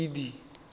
kedi